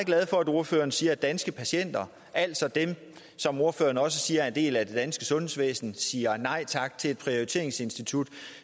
glad for at ordføreren siger at danske patienter altså dem som ordføreren siger også er en del af det danske sundhedsvæsen siger nej tak til et prioriteringsinstitut